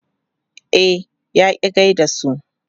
E, ya ƙi gai da su.